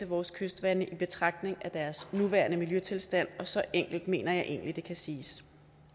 vores kystvande i betragtning af deres nuværende miljøtilstand så enkelt mener jeg egentlig det kan siges